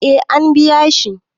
eh an biya shi